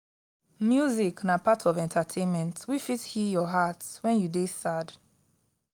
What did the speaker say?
music na part of entertainment wey fit heal your heart wen you dey sad.